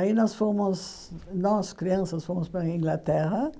Aí nós fomos, nós crianças, fomos para a Inglaterra